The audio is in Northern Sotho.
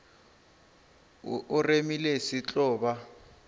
o remile se tlo ba